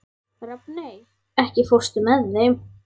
Rafney, ekki fórstu með þeim?